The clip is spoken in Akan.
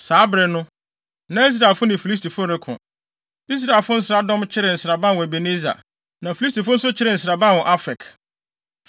Saa bere no, na Israelfo ne Filistifo reko. Israelfo nsraadɔm kyeree nsraban wɔ Ebeneser, na Filistifo nso kyeree nsraban wɔ Afek.